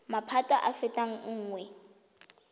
maphata a a fetang nngwe